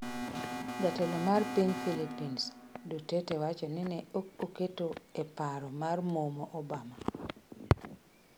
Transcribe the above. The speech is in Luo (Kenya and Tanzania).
Jatelo mar piny Philippines, Duterte wacho ni ne ok oketo e paro mar momo Obama